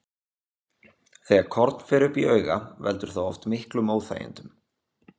Þegar korn fer upp í auga, veldur það oft miklum óþægindum.